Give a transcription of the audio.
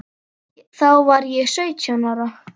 Þá var ég sautján ára.